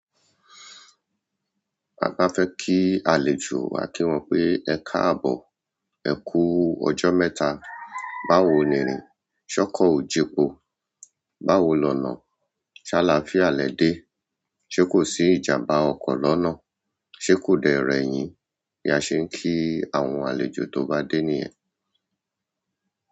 Baba fẹ́ kí àlejò, a kí wọn pé "Ẹkáàbọ̀, ẹ kú ọjọ́ mẹ́ta, báwo ni irìn? Ṣe ọkọ o jepo, báwo lọna ṣalá fía lẹ́ dé, ṣé kò sí ìjàmbá ọkọ̀ lọ́nà? Ṣé kò dẹ rẹ̀ yín?" Bí a ṣe ń kí àwọn àlejò tó bá dé ní yẹn.